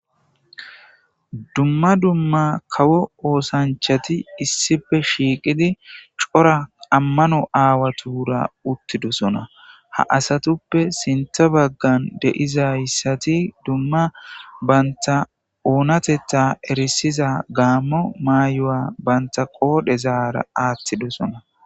dumma dumma kawo oosanchati issife shiiqidi cora ammano aawatura uttidosona ha asatuppe sintha baggan deizayssati dumma banta oonatetta erisiza gaammo maayo7a banta qoodhe zaara aattidosona